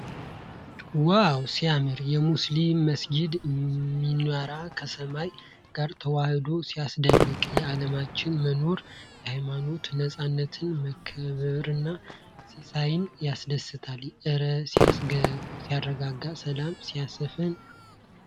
ዋው ሲያምር! የሙስሊም መስጊድ ሚናራ ከሰማይ ጋር ተዋህዶ ሲያስደንቅ! የዓርማዎች መኖር የሃይማኖት ነጻነትንና መከባበርን ሲያሳይ ያስደስታል! እረ ሲያረጋጋ! ሰላም ሲያሰፍን!